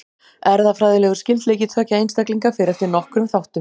Erfðafræðilegur skyldleiki tveggja einstaklinga fer eftir nokkrum þáttum.